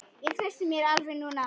Ég treysti mér alveg núna!